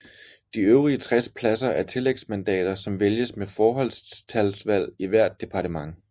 De øvrige 60 pladser er tillægsmandater som vælges med forholdstalsvalg i hvert departement